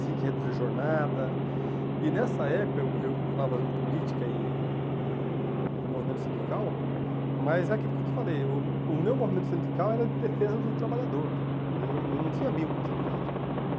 tinha que reduzir jornada, e nessa época eu eu continuava fazendo política e e movimento sindical, mas é aquilo que eu te falei, eu o meu movimento sindical era de defesa do trabalhador, eu eu não tinha vínculo com o sindicato.